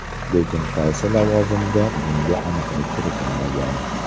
Lekin qaysi lavozimda bunga aniqlik kiritilmagan.